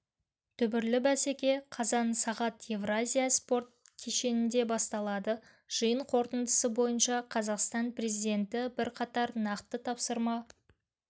дүбірлі бәсеке қазан сағат евразия спорт кешенінде басталады жиын қорытындысы бойынша қазақстан президенті бірқатар нақты тапсырма